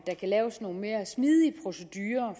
kan laves nogle mere smidige procedurer